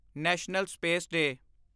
national space day